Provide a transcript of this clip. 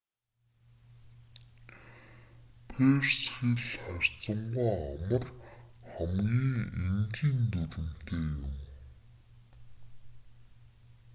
перс хэл харьцангүй амар хамгийн энгийн дүрэмтэй юм